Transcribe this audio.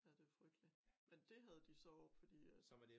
Ja det frygteligt men dét havde de så oppe fordi at